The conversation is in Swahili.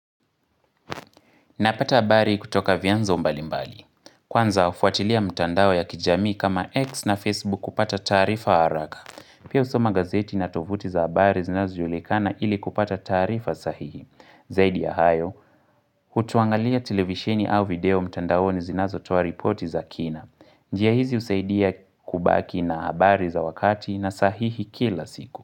Napata habari kutoka vyanzo mbalimbali. Kwanza hufuatilia mitandao ya kijamii kama X na Facebook kupata taarifa haraka. Pia husomagazeti na tovuti za habari zinazojulikana ili kupata taarifa sahihi. Zaidi ya hayo, utuangalia televisheni au video mtandao ni zinazo toa ripoti za kina. Njiahizi husaidia kubaki na habari za wakati na sahihi kila siku.